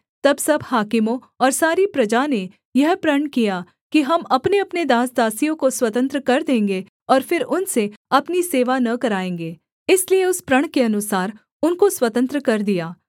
तब सब हाकिमों और सारी प्रजा ने यह प्रण किया कि हम अपनेअपने दास दासियों को स्वतंत्र कर देंगे और फिर उनसे अपनी सेवा न कराएँगे इसलिए उस प्रण के अनुसार उनको स्वतंत्र कर दिया